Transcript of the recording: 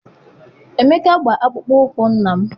Emeka gba akpụkpọ ụkwụ nna m.